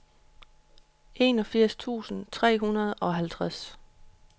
enogfirs tusind tre hundrede og halvtreds